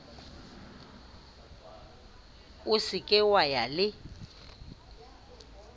se ke wa ya le